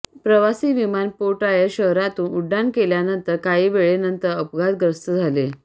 प्रवासी विमान पोयटायर्स शहरातून उड्डाण घेतल्यानंतर काही वेळेनंतर अपघातग्रस्त झाले